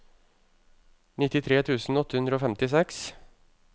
nittitre tusen åtte hundre og femtiseks